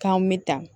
K'anw bɛ ta